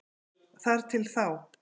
Þar til þá.